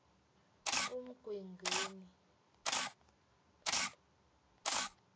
umgwengweni